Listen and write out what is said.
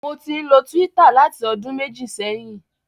Mo ti ń lo Twitter láti ọdún méjì sẹ́yìn.